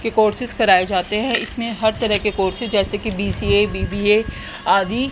की कोर्सेस कराए जाते हैं इसमें हर तरह के कोर्सेस जैसे की बी_सी_ए बी_बी_ए आदि--